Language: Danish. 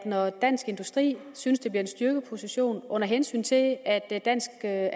når dansk industri synes det vil give en styrket position under hensyn til at det danske